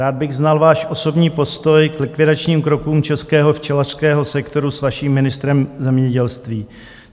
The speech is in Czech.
Rád bych znal váš osobní postoj k likvidačním krokům českého včelařského sektoru s vaším ministrem zemědělství.